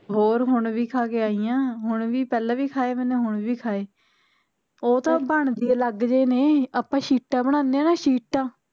ਹੋਰ ਹੁਣ ਵੀ ਖਾ ਕੇ ਆਈ ਆ ਹੁਣ ਵੀ ਪਹਿਲਾ ਵੀ ਖਾਏ ਮੈਨੇ ਹੁਣ ਵੀ ਖਾਏ ਉਹ ਤਾਂ ਬਣਦੇ ਈ ਅਲੱਗ ਜਹੇ ਨੇ ਆਪਾ ਸ਼ੀਟਾਂ ਬਨਾਨੇ ਆ ਨਾ ਸ਼ੀਟਾਂ